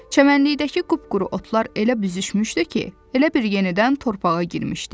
Çəmənlikdəki qupquru otlar elə büzüşmüşdü ki, elə bil yenidən torpağa girmişdi.